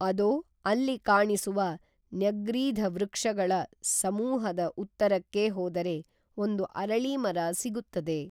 ಅದೋ ಅಲ್ಲಿ ಕಾಣಿಸುವ ನ್ಯಗ್ರೀಧ ವೃಕ್ಷಗಳ ಸಮೂಹದ ಉತ್ತರಕ್ಕೇ ಹೋದರೆ ಒಂದು ಅರಳೀ ಮರ ಸಿಗುತ್ತದೆ